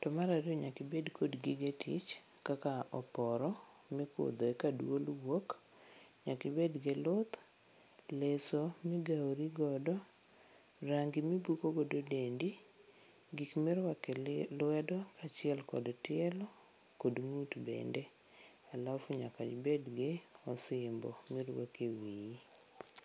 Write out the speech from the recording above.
To mar ariyo nyaka ibed kod gige tich kaka oporo mikudho eka duol wuok, nyaka ibed gi luth, leso migawori godo, range mibuko godo dendi, gik miruako elwedo kaachiel kod tielo kod ng'ut bende alafu nyaka ibed kod osimbo miruako ewiyi.